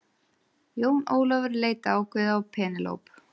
Jón Ólafur leit ákveðið á Penélope.